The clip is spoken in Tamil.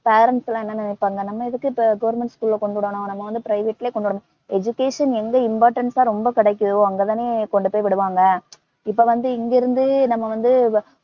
parents லாம் என்ன நினைப்பாங்க நம்ம எதுக்கு இப்ப government school ல கொண்டுவிடணும், நம்ம வந்து private லே கொண்டுவிடணும் education எங்க importance ஆ ரொம்ப கிடைக்குதோ அங்கதானே கொண்டுபோயி விடுவாங்க. இப்பவந்து இங்கிருந்து நம்ம வந்து